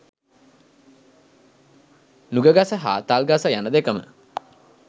නුගගස හා තල්ගස යන දෙකම